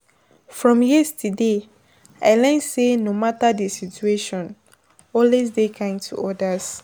From yesterday, I learn say no matter di situation, always dey kind to others.